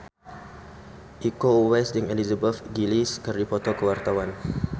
Iko Uwais jeung Elizabeth Gillies keur dipoto ku wartawan